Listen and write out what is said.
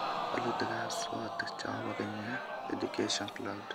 Walutikab SWOT chobo Kenya Education Cloud